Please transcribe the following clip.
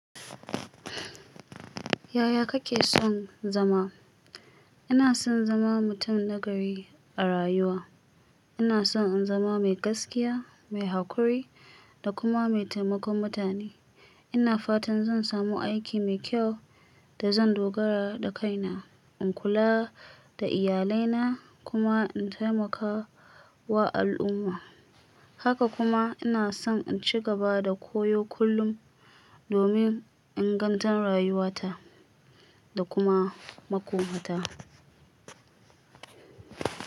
Yaya kake son zama? Ina son zama mutum nagari a rayuwa. Ina son in zama mai gaskiya, mai haƙuri da kuma mai taimakon mutane. Ina fatan zan samu aiki mai kyau da zan dogara da kaina, in kula da iyalina kuma in taimaka wa al'umma. Haka kuma ina son in ci gaba da koyo kullum domin inganta rayuwata da kuma makomata.